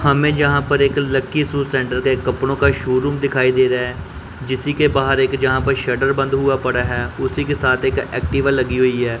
हमें जहां पर एक लकी शू सेंटर का एक कपड़ों का शोरुम दिखाई दे रहा है जिसी के बाहर एक जहां पर शटर बंद हुआ पड़ा है उसी के साथ एक एक्टिवा लगी हुई है।